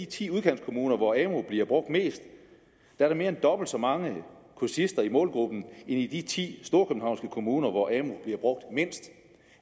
ti udkantskommuner hvor amu bliver brugt mest er mere end dobbelt så mange kursister i målgruppen i de ti storkøbenhavnske kommuner hvor amu bliver brugt mindst